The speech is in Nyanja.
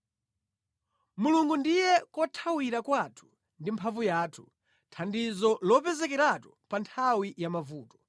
Mulungu ndiye kothawira kwathu ndi mphamvu yathu, thandizo lopezekeratu pa nthawi ya mavuto.